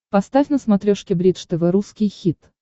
поставь на смотрешке бридж тв русский хит